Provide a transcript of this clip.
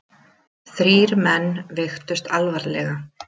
Þrír menn veiktust alvarlega.